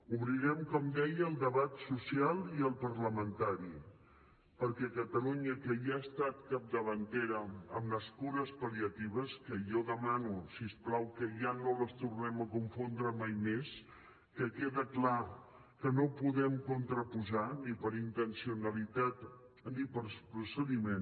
obrirem com deia el debat social i el parlamentari perquè catalunya que ja ha estat capdavantera en les cures pal·liatives que jo demano si us plau que ja no les tornem a confondre mai més que queda clar que no podem contraposar ni per intencionalitat ni per procediment